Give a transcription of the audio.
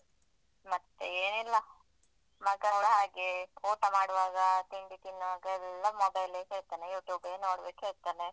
ಮತ್ತೆ ಏನಿಲ್ಲ ಮಗಸ ಹಾಗೆ ಊಟ ಮಾಡುವಾಗ ತಿಂಡಿ ತಿನ್ನುವಾಗ ಎಲ್ಲ mobile ಲೇ ಕೇಳ್ತಾನೆ YouTube ಬೆ ನೋಡ್ಬೇಕು ಹೇಳ್ತಾನೆ.